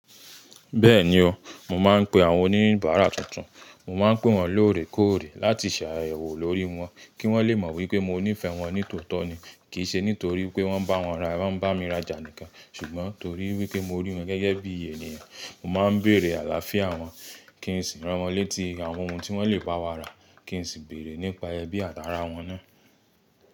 Bẹ́ẹ̀ni o, mo máà ń pe àwọn oníbàárà tuntun. Mo máa ń pè wọ́n lóòrè kóòrè láti ṣààyàwọ̀ lórí wọ́n, kí wọ́n lé mọ̀ wí pé mo nífẹ̀ẹ́ wọ́n nítòótọ́ ni. Kì í ṣe nítorí pé wọ́n bá wọn ra, wọ́n bá mi raja nikàn ṣùgbọ́n nítorí wipé mo rí wọ́n gẹ́gẹ́ bí èniyàn. Mo máa ń bèrè àlàáfíà wọ́n, kí n sì rán wọ́n létí àwọn ohun tí wọ́n lè bá wa ra, kí n sì bèrè nípa ẹbí àt'àrà wọ́n náà.